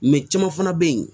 caman fana bɛ yen